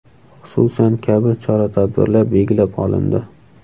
Xususan: kabi chora-tadbirlar belgilab olindi.